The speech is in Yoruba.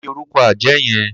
Kini órùkọ àjá yèn?